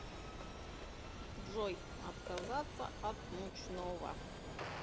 джой отказаться от мучного